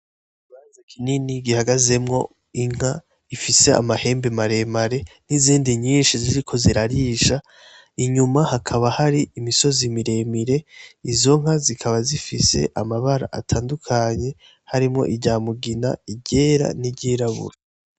Baza kinini gihagazemwo inka ifise amahembe maremare n'izindi nyinshi ziriko zirarisha inyuma hakaba hari imisozi miremire izonka zikaba zifise amabara atandukanye harimwo irya mugina iryera n'iryirabura.